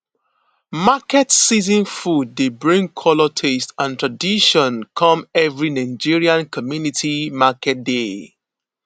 market season food dey bring colour taste and tradition come every nigerian community market day